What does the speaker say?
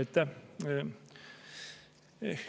Aitäh!